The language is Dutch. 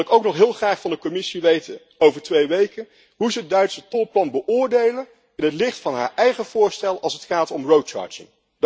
Dan wil ik ook nog heel graag van de Commissie weten, over twee weken, hoe ze het Duitse tolplan beoordeelt in het licht van haar eigen voorstel als het gaat om road charging